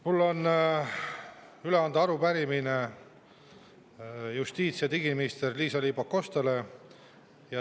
Mul on üle anda arupärimine justiits- ja digiminister Liisa-Ly Pakostale.